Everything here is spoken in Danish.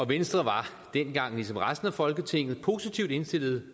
venstre var dengang ligesom resten af folketinget positivt indstillet